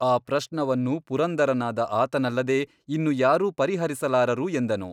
ಈ ಪ್ರಶ್ನವನ್ನು ಪುರಂದರನಾದ ಆತನಲ್ಲದೆ ಇನ್ನು ಯಾರೂ ಪರಿಹರಿಸಲಾರರು ಎಂದನು.